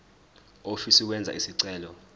ofisa ukwenza isicelo